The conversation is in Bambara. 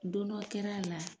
Don dɔ kɛr'a la.